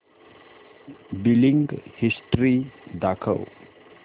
billing history दाखव